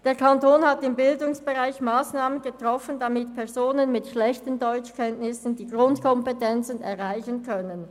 Der Kanton hat im Bildungsbereich Massnahmen getroffen, damit Personen mit schlechten Deutschkenntnissen die Grundkompetenzen erreichen können.